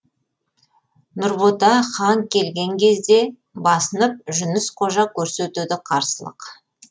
нұрбота хан келген кезде басынып жүніс қожа көрсетеді қарсылық